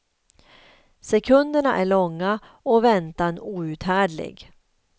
Sekunderna är långa och väntan outhärdlig.